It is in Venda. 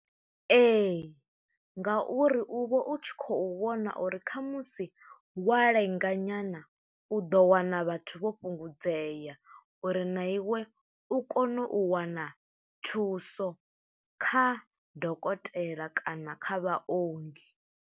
Ee, nga uri u vha u tshi khou vhona uri khamusi wa lenga nyana, u ḓo wana vhathu vho fhungudzea, uri na iwe u kone u wana thuso, kha dokotela kana kha vhaongi.